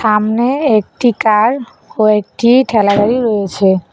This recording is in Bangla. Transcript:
সামনে একটি কার কয়েকটি ঠেলাগাড়ি রয়েছে।